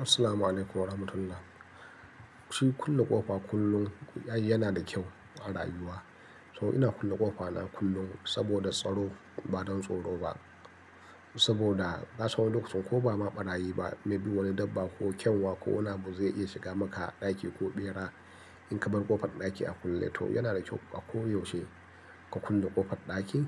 Assalamu alaikum warahmatullah. Shin kulle ƙofa kullum, ai yana da kyau a rayuwa. To ina kulle ƙofa na kullum saboda tsaro ba don tsoro ba. Saboda nasan wani lokacin ko ba ma ɓarayi ba, maybe wani dabba ko kyanwa ko ina abu zai iya shiga maka ɗaki ko ɓera. In ka bar ƙofar ɗaki a kulle to yana da kyau a koyaushe ka kulle ƙofar ɗakin.